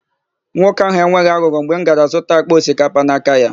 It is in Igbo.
Nwoke áhụ̀ enweghị aghụghọ mgbe m gara zụta àkpà osikapa n'aka ya.